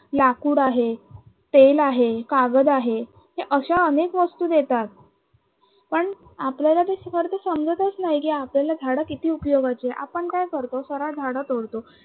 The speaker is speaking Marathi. लाकूड आहे, तेल आहे, कागद आहे हे अश्या अनेक वस्तू देतात. पन आपल्याला ते खर तर समजतच नाही की आपल्याला झाडं किती उपयोगाची आहे आपण काय करतो सरळ झाडं तोडतो